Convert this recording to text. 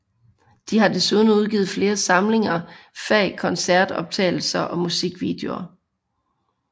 De har desuden udgviet flere samlinger fa koncertoptagelser og musikvideoer